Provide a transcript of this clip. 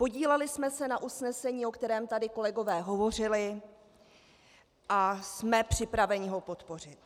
Podíleli jsme se na usnesení, o kterém tady kolegové hovořili, a jsme připraveni ho podpořit.